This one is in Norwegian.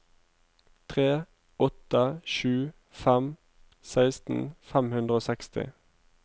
tre åtte sju fem seksten fem hundre og seksti